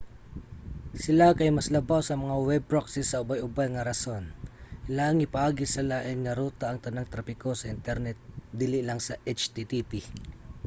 sila kay mas labaw sa mga web proxy sa ubay-ubay nga rason: ilahang ipaagi sa lain nga ruta ang tanang trapiko sa internet dili lang sa http